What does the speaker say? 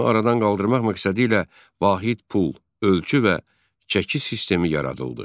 Bunu aradan qaldırmaq məqsədilə vahid pul, ölçü və çəki sistemi yaradıldı.